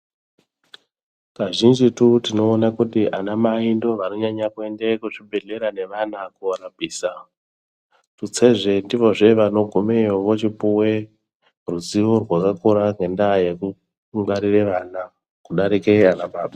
Kazhinjitu tinoona kuti anamai ndivo vanonyanya kuende kuzvibhedhlera nevana korapisa, tutsezve ndivozve vanogumeyo vochipuwe ruzivo rwakakura ngendaa yekuukungwarire vana, kudarike anababa.